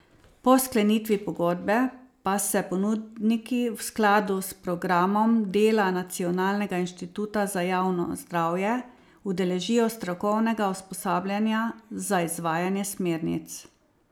Po sklenitvi pogodbe pa se ponudniki v skladu s programom dela Nacionalnega inštituta za javno zdravje udeležijo strokovnega usposabljanja za izvajanje smernic.